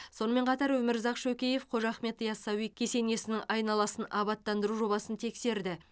сонымен қатар өмірзақ шөкеев қожа ахмет ясауи кесенесінің айналасын абаттандыру жобасын тексерді